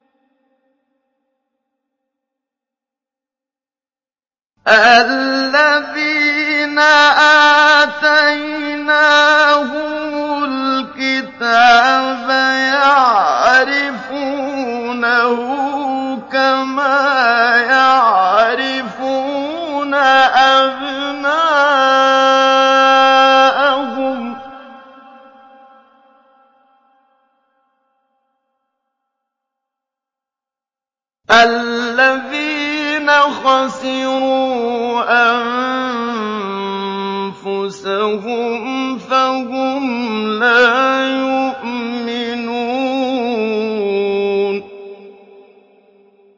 الَّذِينَ آتَيْنَاهُمُ الْكِتَابَ يَعْرِفُونَهُ كَمَا يَعْرِفُونَ أَبْنَاءَهُمُ ۘ الَّذِينَ خَسِرُوا أَنفُسَهُمْ فَهُمْ لَا يُؤْمِنُونَ